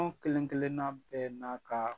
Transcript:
Anw kelenkelenna bɛɛ n'a ka